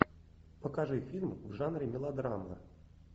покажи фильм в жанре мелодрама